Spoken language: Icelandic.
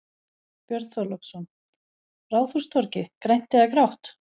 Björn Þorláksson: Ráðhústorgið, grænt eða grátt?